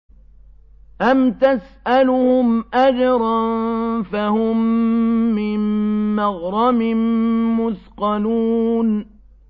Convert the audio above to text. أَمْ تَسْأَلُهُمْ أَجْرًا فَهُم مِّن مَّغْرَمٍ مُّثْقَلُونَ